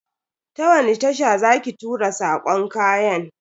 Ta wani tasha za ki tura sakon kayan?